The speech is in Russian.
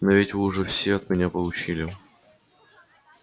но ведь вы уже все от меня получили